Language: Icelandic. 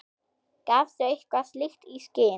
Gafstu eitthvað slíkt í skyn?